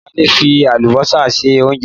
Ìyá Adé fi àlùbọ́sà se oúnjẹ.